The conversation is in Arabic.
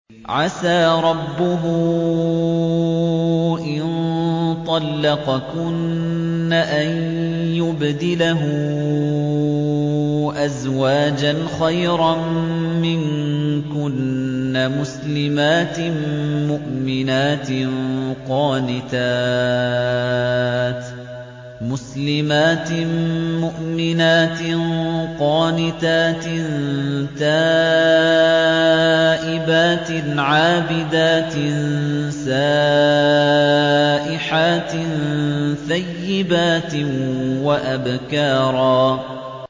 عَسَىٰ رَبُّهُ إِن طَلَّقَكُنَّ أَن يُبْدِلَهُ أَزْوَاجًا خَيْرًا مِّنكُنَّ مُسْلِمَاتٍ مُّؤْمِنَاتٍ قَانِتَاتٍ تَائِبَاتٍ عَابِدَاتٍ سَائِحَاتٍ ثَيِّبَاتٍ وَأَبْكَارًا